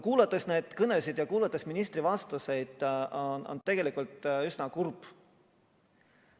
Kuulates neid kõnesid ja kuulates ministri vastuseid, on mul tegelikult üsna kurb.